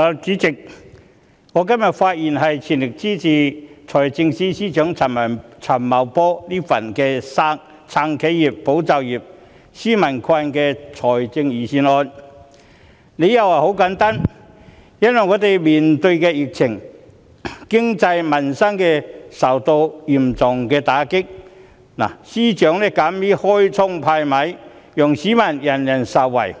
主席，我今天發言全力支持財政司司長陳茂波"撐企業、保就業、紓民困"的財政預算案，理由十分簡單，就是當我們面對疫情，經濟民生受到嚴重打擊，司長敢於"開倉派米"，讓所有市民受惠。